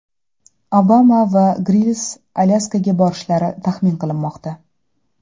Obama va Grills Alyaskaga borishlari taxmin qilinmoqda.